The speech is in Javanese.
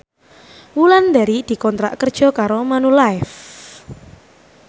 Wulandari dikontrak kerja karo Manulife